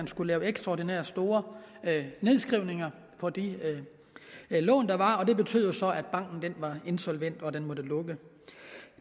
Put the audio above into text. skulle laves ekstraordinært store nedskrivninger på de lån der var og det betød jo så at banken var insolvent og måtte lukke